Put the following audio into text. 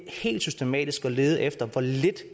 helt systematisk at lede efter hvor lidt